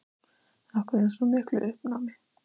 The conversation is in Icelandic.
Af hverju hún var í svona miklu uppnámi.